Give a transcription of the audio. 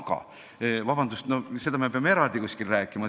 Aga vabandust, sellest peame kuskil eraldi rääkima.